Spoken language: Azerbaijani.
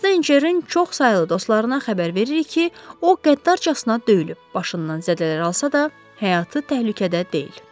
Steynçerin çoxsaylı dostlarına xəbər veririk ki, o qəddarcasına döyülüb, başından zədələr alsa da, həyatı təhlükədə deyil.